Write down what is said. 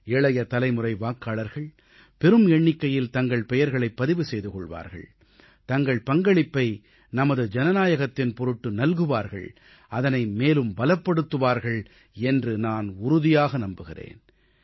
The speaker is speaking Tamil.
இளைய தலைமுறை வாக்காளர்கள் பெரும் எண்ணிக்கையில் தங்கள் பெயர்களைப் பதிவு செய்து கொள்வார்கள் தங்கள் பங்களிப்பை நமது ஜனநாயகத்தின் பொருட்டு நல்குவார்கள் அதனை மேலும் பலப்படுத்துவார்கள் என்று நான் உறுதியாக நம்புகிறேன்